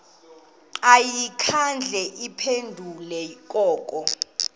ayikhange iphendule koko